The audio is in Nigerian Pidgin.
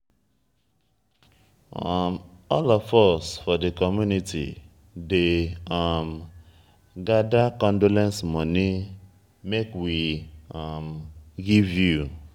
all of us for di community dey um gada condolence moni make we um give you.